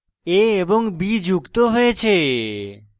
a এবং b যুক্ত হয়েছে